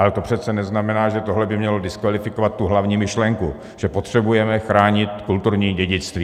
Ale to přece neznamená, že tohle by mělo diskvalifikovat tu hlavní myšlenku, že potřebujeme chránit kulturní dědictví.